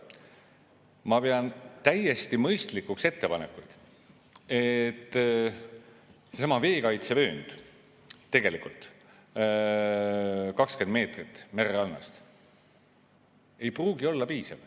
Ma pean täiesti mõistlikuks, et see veekaitsevöönd, 20 meetrit mererannast, ei pruugi olla piisav.